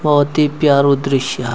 बहौत ही प्यारु दृश्या।